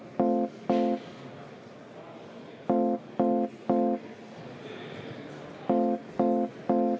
Vaheaeg üheksa minutit.